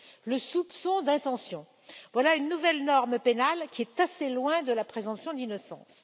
Le soupçon d'intention voilà une nouvelle norme pénale qui est assez loin de la présomption d'innocence.